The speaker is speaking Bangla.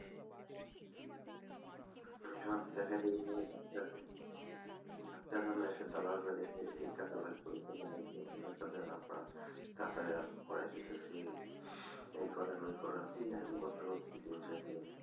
এখানে দেখাতে এসেছি ডাক্তারকে, ডাক্তার না এসে দালাল এসে এটা চালাচ্ছে ওটা চালাচ্ছে তাড়াতাড়ি করে দিচ্ছি এই করেন ওই করেন, এরকম করতে করতে দিন শেষ হয়ে যায়,